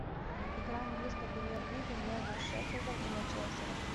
игра английской премьер лиги между шеффилдом и манчестером